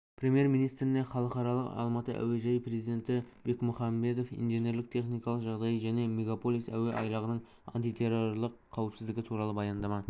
премьер-министріне халықаралық алматы әуежайы президенті бекмұхамбетов инженерлік-техникалық жағдайы және мегаполис әуе айлағының антитеррорлық қауіпсіздігі туралы баяндама